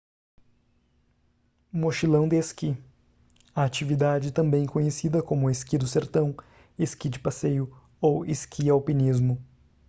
mochilão de esqui atividade também conhecida como esqui do sertão esqui de passeio ou esqui-alpinismo